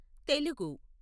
Telugu